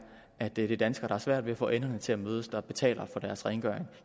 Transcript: at det er danskere der har svært ved at få enderne til at mødes der betaler for deres rengøring